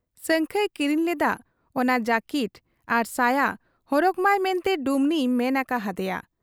ᱥᱟᱹᱝᱠᱷᱟᱹᱭ ᱠᱤᱨᱤᱧ ᱞᱮᱫᱟᱜ ᱚᱱᱟ ᱡᱟᱹᱠᱤᱴ ᱟᱨ ᱥᱟᱭᱟ ᱦᱚᱨᱚᱜᱽᱢᱟᱭ ᱢᱮᱱᱛᱮ ᱰᱩᱢᱱᱤᱭᱮ ᱢᱮᱱ ᱟᱠᱟ ᱦᱟᱫᱮᱭᱟ ᱾